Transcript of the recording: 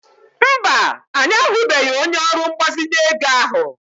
Mba, anyị ahụbeghị onye ọrụ mgbazinye ego ahụ.